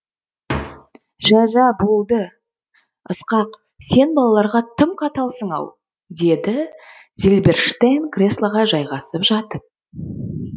жә жә болды болды ысқақ сен балаларға тым қаталсың ау деді зильберштейн креслоға жайғасып жатып